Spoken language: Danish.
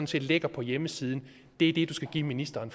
set ligger på hjemmesiden er det du skal give ministeren